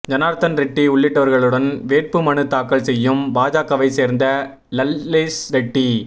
ஜனார்தன் ரெட்டி உள்ளிட்டவர்களுடன் வேட்பு மனு தாக்கல் செய்யும் பாஜகவை சேர்ந்த லல்லேஷ் ரெட்டி